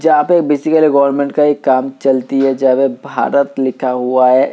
जहाँ पे basically government का एक काम चलती है जहाँ पे भारत लिखा हुआ है।